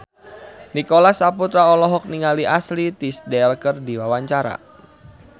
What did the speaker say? Nicholas Saputra olohok ningali Ashley Tisdale keur diwawancara